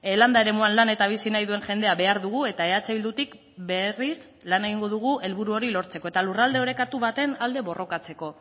landa eremuan lan eta bizi nahi duen jendea behar dugu eta eh bildutik berriz lan egingo dugu helburu hori lortzeko eta lurralde orekatu baten alde borrokatzeko